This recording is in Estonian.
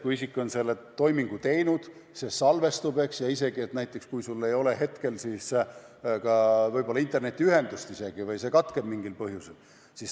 Kui isik on oma toimingu teinud, siis see salvestub, isegi kui sel hetkel ei ole internetiühendust, see katkeb mingil põhjusel.